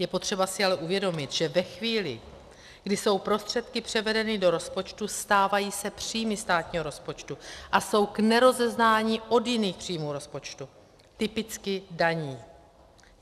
Je potřeba si ale uvědomit, že ve chvíli, kdy jsou prostředky převedeny do rozpočtu, stávají se příjmy státního rozpočtu a jsou k nerozeznání od jiných příjmů rozpočtu - typicky daní.